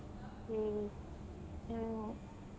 ಹ್ಮ್ ಹ್ಮ್.